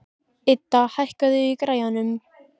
Idda, hækkaðu í græjunum.